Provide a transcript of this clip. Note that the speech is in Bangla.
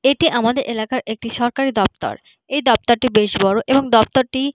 এটি আমাদের এলাকার একটি সরকারি দপ্তর। এই দপ্তরটি বেশ বড় এবং দপ্তরটি --